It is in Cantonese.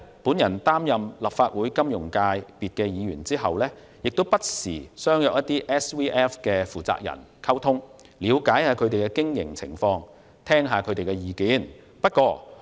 我擔任立法會金融界別的議員後，不時與一些 SVF 的負責人見面溝通，了解他們的經營情況，並聽取他們的意見。